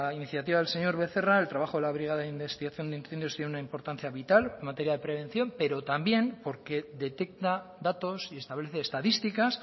iniciativa del señor becerra el trabajo de la brigada de investigación de incendios tiene una importancia vital en materia de prevención pero también porque detecta datos y establece estadísticas